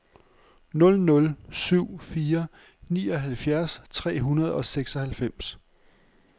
nul nul syv fire nioghalvfjerds tre hundrede og seksoghalvfems